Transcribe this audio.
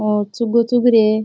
और चुगो चुग रहे।